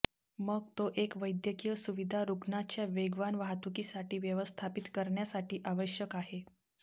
मग तो एक वैद्यकीय सुविधा रुग्णाच्या वेगवान वाहतुकीसाठी व्यवस्थापित करण्यासाठी आवश्यक आहे